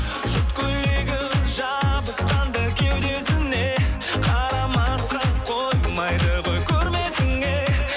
шыт көйлегі жабысқанда кеудесіне қарамасқа қоймайды ғой көрмесіңе